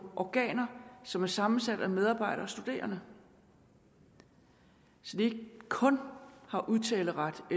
organer som er sammensat af medarbejdere og studerende så de ikke kun har udtaleret og